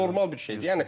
Bu normal bir şeydir.